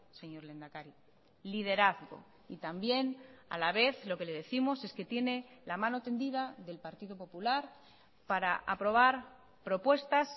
señor lehendakari liderazgo y también a la vez lo que le décimos es que tiene la mano tendida del partido popular para aprobar propuestas